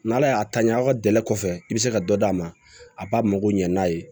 N'ala y'a ta ɲɛ a ka gɛlɛn kɔfɛ i bɛ se ka dɔ d'a ma a b'a mago ɲɛ n'a ye